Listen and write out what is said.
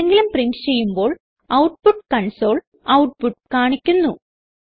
എന്തെങ്കിലും പ്രിന്റ് ചെയ്യുമ്പോൾ output console output കാണിക്കുന്നു